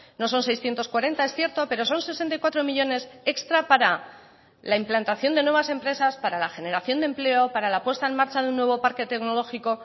no son seiscientos cuarenta es cierto pero son sesenta y cuatro millónes extra para la implantación de nuevas empresas para la generación de empleo para la puesta en marcha de un nuevo parque tecnológico